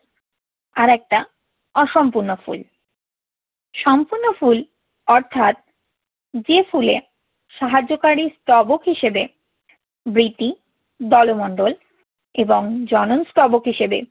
আরেকটা অসম্পূর্ণ ফুল। সম্পূর্ণ ফুল অর্থাৎ যে ফুলে সাহায্যকারী স্তবক হিসেবে বৃতি, দলমণ্ডল এবং জনন স্তবক হিসেবে